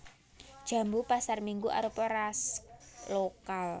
Jambu pasarminggu arupa ras lokal